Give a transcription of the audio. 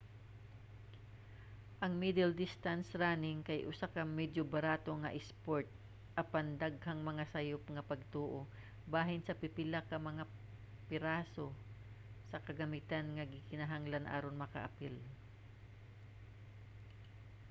ang middle distance running kay usa ka medyo barato nga isport; apan daghang mga sayop nga pagtoo bahin sa pipila ka mga piraso sa kagamitan nga gikinahanglan aron makaapil